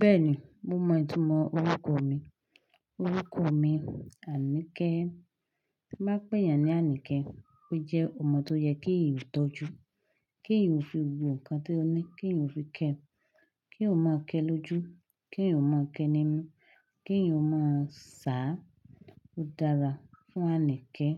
Bẹ́ẹ̀ni, mo mọ ìtumọ̀ orúkọ mi. Orúkọ mi Anike. Bí mo bá pè éyàn ní Anike, ó jẹ́ ọmọ tó yẹ kí èèyàn ó tọ́jú, kí èèyàn ó fi gbogbo nǹkan tó ní kí èèyàn ó fi kẹ́ ẹ, kí eeyan máa kẹ́ ẹ lójú, kí eeyan máa kẹ́ ẹ ní mú, kí èèyàn ó máa ṣà. Ó dára fún Anike